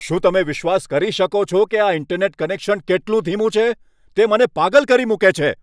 શું તમે વિશ્વાસ કરી શકો છો કે આ ઇન્ટરનેટ કનેક્શન કેટલું ધીમું છે? તે મને પાગલ કરી મૂકે છે!